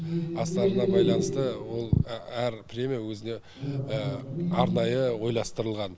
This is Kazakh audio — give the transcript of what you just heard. астарына байланысты ол әр премия өзі арнайы ойластырылған